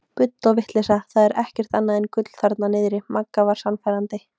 Bull og vitleysa það er ekkert annað en gull þarna niðri Magga var sannfærandi.